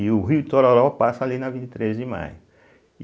E o Rio Itororó passa ali na vinte e três de maio.